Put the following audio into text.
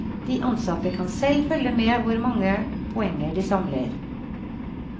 De ansatte kan selv følge med hvor mange poenger de samler.